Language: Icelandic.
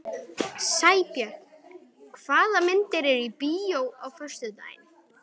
Sæbjörn, hvaða myndir eru í bíó á föstudaginn?